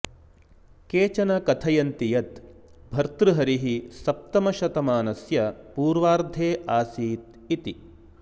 केचन कथयन्ति यत् भर्तृहरिः सप्तमशतमानस्य पूर्वार्धे आसीत् इति